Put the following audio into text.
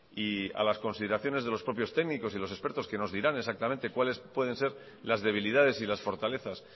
y a las consideraciones de los propios técnicos y los expertos que nos dirán exactamente cuáles pueden ser las debilidades y las fortalezas